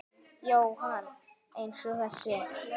Jóhann: Eins og þessi?